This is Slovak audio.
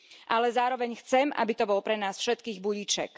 Ale zároveň chcem, aby to bol pre nás všetkých budíček.